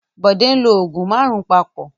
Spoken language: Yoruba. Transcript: Bọ̀dé ń lo òògùn márùn-ún papọ̀.